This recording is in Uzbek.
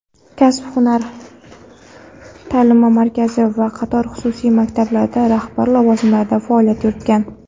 kasb-hunar ta’limi markazi va qator xususiy maktablarda rahbar lavozimlarida faoliyat yuritgan.